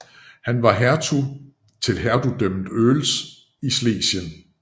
Han var hertug til Hertugdømmet Oels i Schlesien